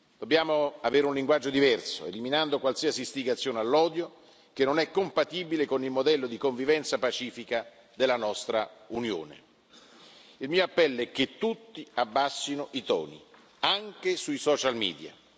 Dobbiamo avere un linguaggio diverso, eliminando qualsiasi istigazione all'odio, che non è compatibile con il modello di convivenza pacifica della nostra Unione. Il mio appello è che tutti abbassino i toni, anche sui social media.